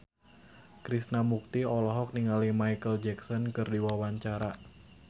Krishna Mukti olohok ningali Micheal Jackson keur diwawancara